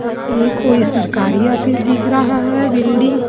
ये कोई सरकारी ऑफिस दिख रहा है बिल्डिंग --